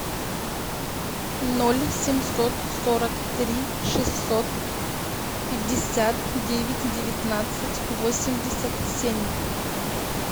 ноль семьсот сорок три шестьсот пятьдесят девять девятнадцать восемьдесят семь